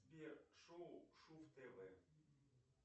сбер шоу шув тв